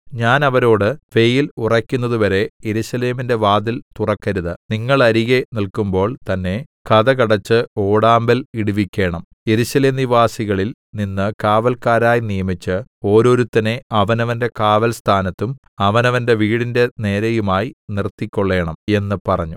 ഞാൻ അവരോട് വെയിൽ ഉറയ്ക്കുന്നതുവരെ യെരൂശലേമിന്റെ വാതിൽ തുറക്കരുത് നിങ്ങൾ അരികെ നില്ക്കുമ്പോൾ തന്നെ കതക് അടച്ച് ഓടാമ്പൽ ഇടുവിക്കേണം യെരൂശലേം നിവാസികളിൽ നിന്ന് കാവല്ക്കാരായി നിയമിച്ച് ഓരോരുത്തനെ അവനവന്റെ കാവൽസ്ഥാനത്തും അവനവന്റെ വീടിന്റെ നേരെയുമായി നിർത്തിക്കൊള്ളേണം എന്ന് പറഞ്ഞു